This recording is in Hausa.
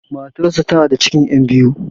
Matar sa tana da cikin 'yan biyu.